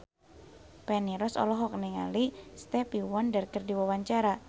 Feni Rose olohok ningali Stevie Wonder keur diwawancara